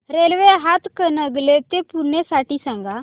railway Hatkanangale ते पुणे साठी सांगा